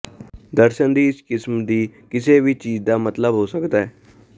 ਦਰਸ਼ਨ ਦੀ ਇਸ ਕਿਸਮ ਦੀ ਕਿਸੇ ਵੀ ਚੀਜ਼ ਦਾ ਮਤਲਬ ਹੋ ਸਕਦਾ ਹੈ